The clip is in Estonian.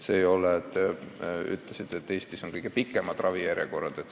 Te ütlesite ka, et Eestis on kõige pikemad ravijärjekorrad.